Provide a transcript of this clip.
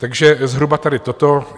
Takže zhruba tady toto.